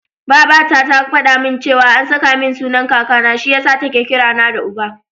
Babata ta faɗa min cewa an saka min sunan Kakana, shi yasa take kira na da Uba.